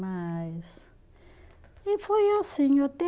Mas e foi assim, até